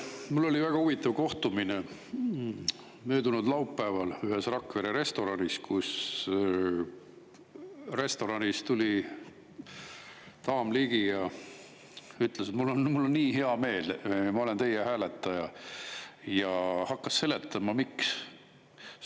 Mul oli väga huvitav kohtumine möödunud laupäeval ühes Rakvere restoranis, kus restoranis tuli daam ligi ja ütles, et mul on nii hea meel, ma olen teie hääletaja, ja hakkas seletama, miks.